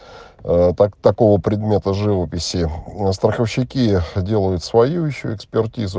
аа так такого предмета живописи а страховщики делают свою ещё экспертизу